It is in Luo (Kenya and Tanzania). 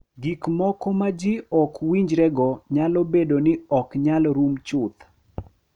Gik moko ma ji ok winjrego nyalo bedo ni ok nyal rum chuth,